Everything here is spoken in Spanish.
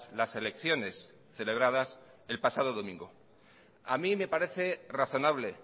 las elecciones celebradas el pasado domingo a mí me parece razonable